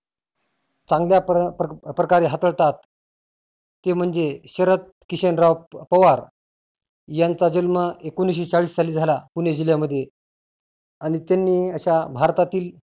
चांगल्या प्र प्रकारे हाताळतात ते म्हणजे शरद किशनराव पवार यांचा जन्म एकोनिसशी चाळीस साली झाला पुणे जिल्ह्यामध्ये. आणि त्यांनी अशा भारतातील